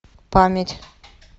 память